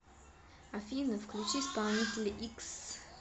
афина включи исполнителя икс